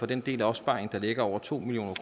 den del af opsparingen der ligger over to million